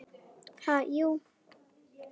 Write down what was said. Ha, jú.